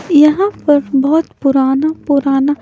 यहां पर बहुत पुराना पुराना--